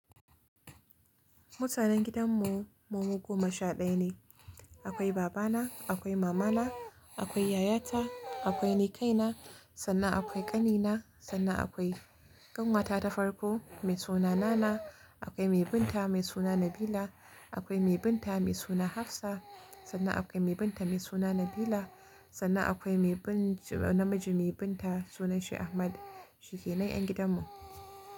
Mutanen gidan mu, mu goma sha ɗaya ne. Akwai babana, akwai mamana, akwai yayata, akwai ni kaina, sannan akwai ƙanina, sannan akwai ƙanwata ta farko mai suna Nana, akwai mai bin ta mai suna Nabila, akwai mai bin ta mai suna Hafsa, sannan akwai mai bin ta mai suna Nabila, sannan akwai mai bin namiji mai bin ta sunanshi Ahmad. Shi kenan ƴan gidan mu.